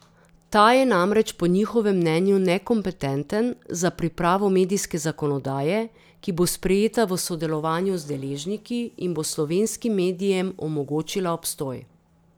Ta je namreč po njihovem mnenju nekompetenten za pripravo medijske zakonodaje, ki bo sprejeta v sodelovanju z deležniki in bo slovenskim medijem omogočila obstoj.